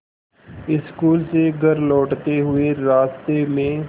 school से घर लौटते हुए रास्ते में